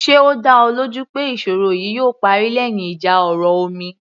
Ṣe ó dá ọ lójú pé ìṣòro yìí yóò parí lẹ́yìn ìjà ọ̀rọ̀ omi